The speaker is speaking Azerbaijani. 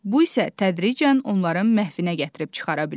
Bu isə tədricən onların məhvinə gətirib çıxara bilər.